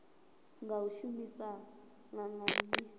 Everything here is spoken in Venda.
nga u shumisana na nnyi